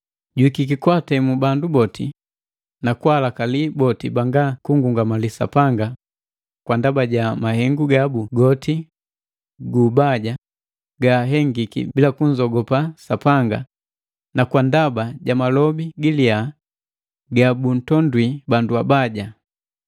Juhika kwaatemu bandu boti, na kwaalakali boti banga kunngungamali Sapanga kwa ndaba ja mahengu gabu goti guubaja gaahengiki bila kunzogopa Sapanga, na kwa ndaba ja malobi giliya ga buntondwi bandu abaja.”